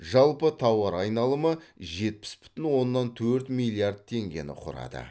жалпы тауар айналымы жетпіс бүтін оннан төрт миллиард теңгені құрады